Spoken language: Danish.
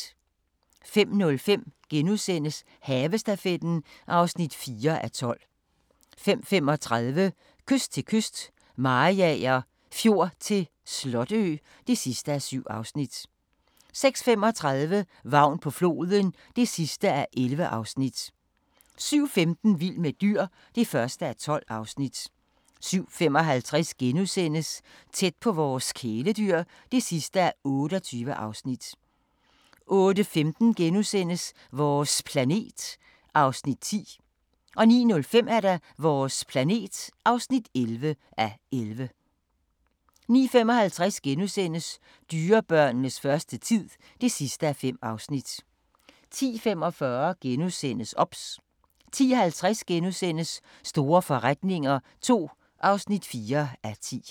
05:05: Havestafetten (4:12)* 05:35: Kyst til kyst - Mariager Fjord til Slotø (7:7) 06:35: Vagn på floden (11:11) 07:15: Vild med dyr (1:12) 07:55: Tæt på vores kæledyr (28:28)* 08:15: Vores planet (10:11)* 09:05: Vores planet (11:11) 09:55: Dyrebørnenes første tid (5:5)* 10:45: OBS * 10:50: Store forretninger II (4:10)*